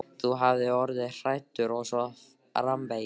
Þú hafir orðið hræddur og svo framvegis.